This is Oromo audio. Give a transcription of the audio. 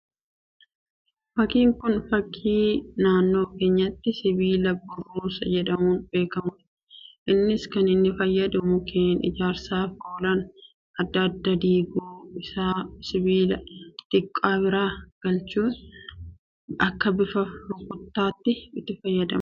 Fakkiin Kun fakkii, naannoo keenyatti sibiila burruusa jedhamuun beekamudha. Innis kan inni fayyadu mukkeen ijaarsaaf oolan addaa addaa gidduu isaa sibiila xixiqqoo biraa galchuun akka bifa rukkuchaatti itti fayyadamuun muka baqaqsanidha.